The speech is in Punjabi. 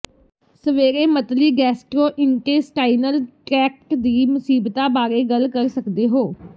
ਸਵੇਰੇ ਮਤਲੀ ਗੈਸਟਰ੍ੋਇੰਟੇਸਟਾਈਨਲ ਟ੍ਰੈਕਟ ਦੀ ਮੁਸੀਬਤਾ ਬਾਰੇ ਗੱਲ ਕਰ ਸਕਦੇ ਹੋ